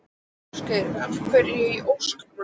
Ásgeir: Af hverju í ósköpunum?